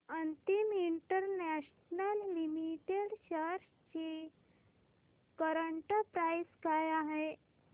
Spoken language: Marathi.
अमित इंटरनॅशनल लिमिटेड शेअर्स ची करंट प्राइस काय आहे